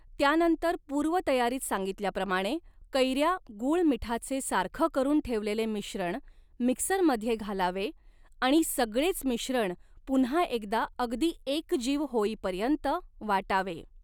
त्यानंतर पूर्वतयारीत सांगितल्याप्रमाणे कैऱ्या गूळ मिठाचे सारखं करून ठेवलेले मिश्रण मिक्सरमध्ये घालावे आणि सगळेच मिश्रण पुन्हा एकदा अगदी एकजीव होईपर्यंत वाटावे.